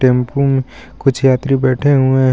Tempo में कुछ यात्री बैठे हुए हैं. औ--